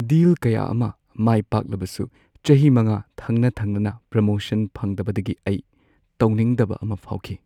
ꯗꯤꯜ ꯀꯌꯥ ꯑꯃ ꯃꯥꯏꯄꯥꯛꯂꯕꯁꯨ ꯆꯍꯤ ꯃꯉꯥ ꯊꯪꯅ-ꯊꯪꯅꯅ ꯄ꯭ꯔꯣꯃꯣꯁꯟ ꯐꯪꯗꯕꯗꯒꯤ ꯑꯩ ꯇꯧꯅꯤꯡꯗꯕ ꯑꯃ ꯐꯥꯎꯈꯤ꯫